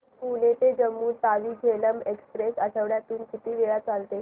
पुणे ते जम्मू तावी झेलम एक्स्प्रेस आठवड्यातून किती वेळा चालते